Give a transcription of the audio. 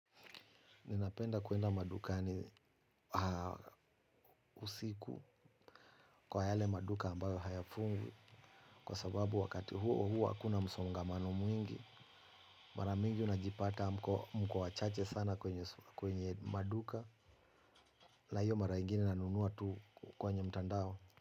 Ninapenda kuenda madukani usiku kwa yale maduka ambayo hayafungwi. Kwa sababu wakati huo huwa hakuna msongamano mwingi. Maramingi unajipata mko wawachache sana kwenye maduka na hiyo mara ingine nanunua tu kwenye mtandao.